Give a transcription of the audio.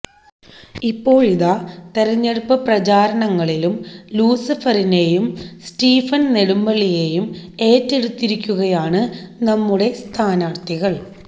ഇപ്പോഴിതാ തെരഞ്ഞെടുപ്പ് പ്രചാരണങ്ങളിലും ലൂസിഫറിനെയും സ്റ്റിഫന് നെടുമ്പള്ളിയേയും ഏറ്റെടുത്തിരിക്കുകയാണ് നമ്മുടെ സ്ഥാനാര്ത്ഥികള്